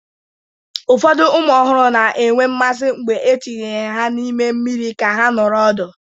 Ụfọdụ ụmụ ọhụrụ na-enwe mmasị mgbe etinyere ha n'ime mmiri ka ha nọrọ ọdụ.